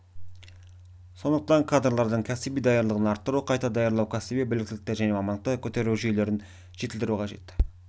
сондықтан кадрлардың кәсіби даярлығын арттыру қайта даярлау кәсіби біліктілікті және мамандықты көтеру жүйелерін жетілдіру қажет